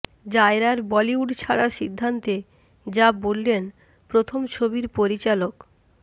জায়রার বলিউড ছাড়ার সিদ্ধান্তে যা বললেন প্রথম ছবির পরিচালক